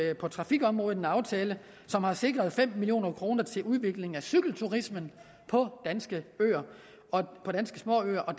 jo på trafikområdet en aftale som har sikret fem million kroner til udvikling af cykelturismen på danske småøer og